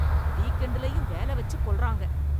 Week எண்டுலேயும் வேலை வச்சு கொல்றாங்க.